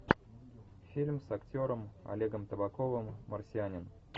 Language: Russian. фильм с актером олегом табаковым марсианин